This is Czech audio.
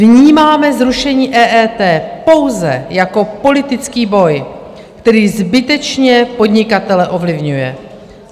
Vnímáme zrušení EET pouze jako politický boj, který zbytečně podnikatele ovlivňuje.